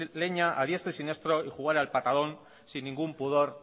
leña a diestro y siniestro y jugar al patadón sin ningún pudor